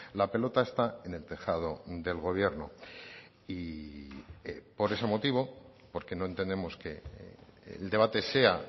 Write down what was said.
la pelota está en el tejado del gobierno y por ese motivo porque no entendemos que el debate sea